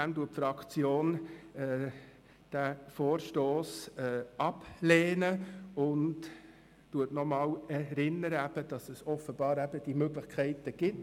Deshalb lehnt die FDP-Fraktion diesen Vorstoss ab und erinnert daran, dass es diese Möglichkeiten offenbar gibt.